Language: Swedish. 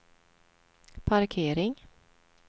parkering